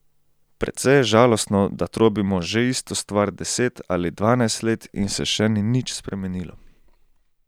Precej je žalostno, da trobimo že isto stvar deset ali dvanajst let in se še ni nič spremenilo.